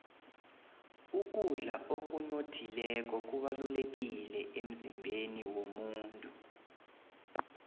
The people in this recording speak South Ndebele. ukudla okunothileko kubalulekile emzimbeni womuntu